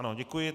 Ano, děkuji.